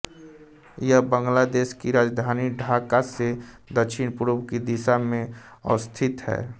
यह बांग्लादेश की राजधानी ढाका से दक्षिणपूर्व की दिशा में अवस्थित है